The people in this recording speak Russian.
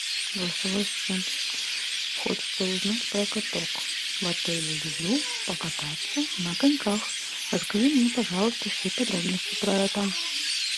голосовой ассистент хочется узнать про каток в отеле люблю покататься на коньках расскажи мне пожалуйста все подробности про это